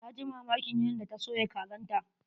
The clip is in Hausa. Na ji mamakin yadda ta soya kazan ta.